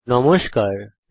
নমস্কার বন্ধুগণ